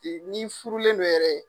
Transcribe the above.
Ni furulen don yɛrɛ .